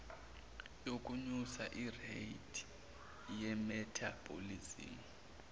yokunyusa ireythi yemethabholizimu